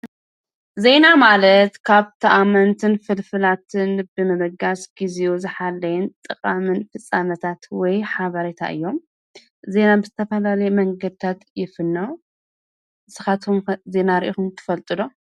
ዜና ማለት ካብ ተኣመንትን ፍልፍላትን ብምብጋስ ግዜኡ ዝሓለየን ጠቃምን ፍጻመታት ወይ ሓቤረታ እዮም ።ዜና ብዝተፈላላአዩ መንገድታት ይፍኖ። ንስኻትኩም ከ ዜና ሪኢኩም ትፈልጡ ዶ?